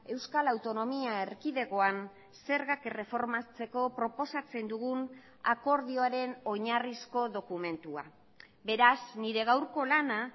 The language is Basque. euskal autonomia erkidegoan zergak erreformatzeko proposatzen dugun akordioaren oinarrizko dokumentua beraz nire gaurko lana